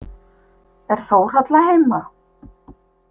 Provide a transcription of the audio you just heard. Er Þórhalla heima?